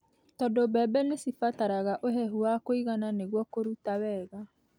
tondũ mbembe nĩ cibataraga ũhehu wa kũigana nĩguo kũruta wega.